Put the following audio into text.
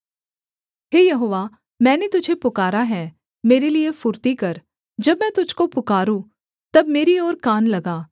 हे यहोवा मैंने तुझे पुकारा है मेरे लिये फुर्ती कर जब मैं तुझको पुकारूँ तब मेरी ओर कान लगा